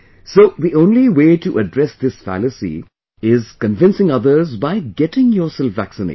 So, the only way to address this fallacy is convincing others by getting yourself vaccinated